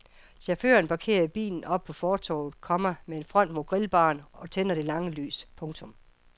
Chaufføren parkerer bilen oppe på fortorvet, komma med front mod grillbaren og tænder det lange lys. punktum